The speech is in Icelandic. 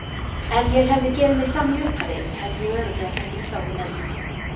Ef ég hefði gefið mig fram í upphafi hefði ég örugglega fengið skárri meðferð.